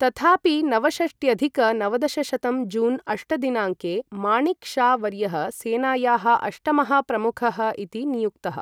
तथापि, नवषष्ट्यधिक नवदशशतं जून् अष्ट दिनाङ्के माणिक् शा वर्यः सेनायाः अष्टमः प्रमुखः इति नियुक्तः।